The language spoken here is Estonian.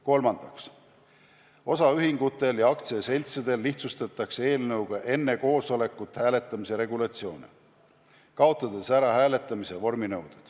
Kolmandaks, osaühingutel ja aktsiaseltsidel lihtsustatakse eelnõuga enne koosolekut hääletamise regulatsioone, kaotades ära hääletamise vorminõude.